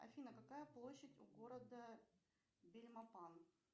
афина какая площадь у города бельмопан